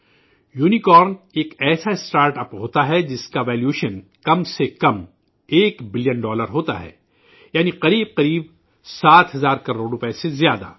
'uni کارن' ایک ایسا startup ہوتا ہے جس کی قیمت کم سے کم ایک بلین ڈالر کے بقدر ہوتی ہے یعنی تقریباً سات ہزار کروڑ روپئے سے زیادہ